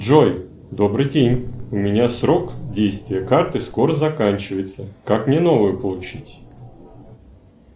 джой добрый день у меня срок действия карты скоро заканчивается как мне новую получить